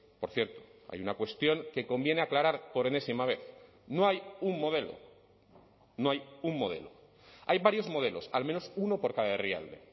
por cierto hay una cuestión que conviene aclarar por enésima vez no hay un modelo no hay un modelo hay varios modelos al menos uno por cada herrialde